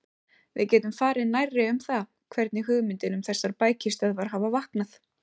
Við getum farið nærri um það, hvernig hugmyndin um þessar bækistöðvar hafði vaknað.